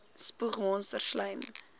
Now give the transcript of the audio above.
spoeg monsters slym